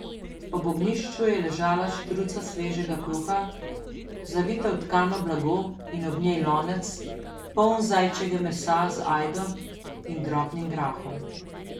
Ob ognjišču je ležala štruca svežega kruha, zavita v tkano blago, in ob njej lonec, poln zajčjega mesa z ajdo in drobnim grahom.